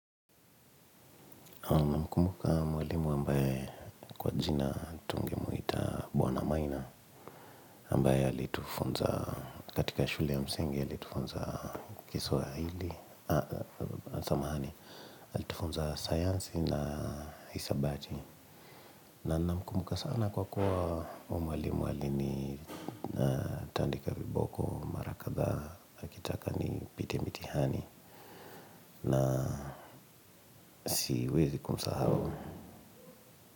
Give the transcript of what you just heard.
Namkumbuka mwalimu ambaye kwa jina tungemuita bwana Maina ambaye alitufunza katika shule ya msingi, alitufunza kiswahili, samahani alitufunza sayansi na hisabati. Na namkumbuka sana kwa kuwa huyo mwalimu alinitandika viboko mara kadhaa akitaka nipite mitihani na siwezi kumsahau.